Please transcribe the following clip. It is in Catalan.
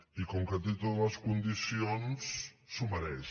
i com que té totes les condicions s’ho mereix